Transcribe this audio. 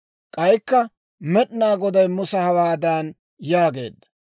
K'aykka Med'inaa Goday Musa hawaadan yaageedda,